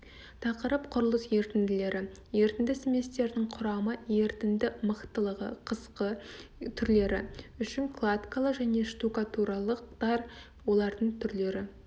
тақырып құрылыс ерітінділері ерітінді сместердің құрамы ерітінді мықтылығы қысқы түрлері үшін кладкалы және штукатуралықтар олардың түрлері